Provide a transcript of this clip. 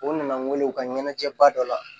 U nana n wele u ka ɲɛnajɛba dɔ la